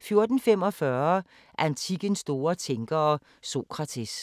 14:45: Antikkens store tænkere – Sokrates